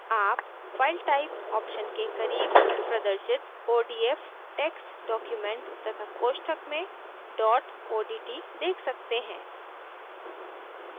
आप file type option के करीब प्रदर्शित odf text document तथा कोष्ठक में dot odt देख सकते हैं